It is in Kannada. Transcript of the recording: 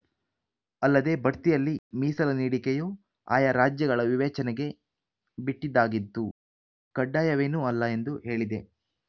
ಅಲ್ಲದೆ ಬಡ್ತಿಯಲ್ಲಿ ಮೀಸಲು ನೀಡಿಕೆಯು ಆಯಾ ರಾಜ್ಯಗಳ ವಿವೇಚನೆಗೆ ಬಿಟ್ಟಿದ್ದಾಗಿದ್ದು ಕಡ್ಡಾಯವೇನೂ ಅಲ್ಲ ಎಂದು ಹೇಳಿದೆ